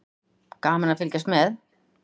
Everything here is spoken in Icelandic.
Gaman að fylgjast með.